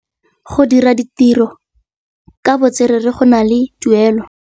Go dira ditirô ka botswerere go na le tuelô.